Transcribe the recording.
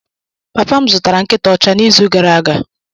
Papa m zụtara nkịta ọcha n'izu gara aga.